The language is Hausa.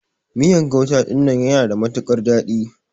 Miyan gauta dinnan yana da matukar dadi.